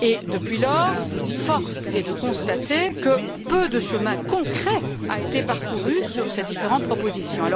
Depuis lors, force est de constater que peu de chemin concret a été parcouru sur ces différentes propositions.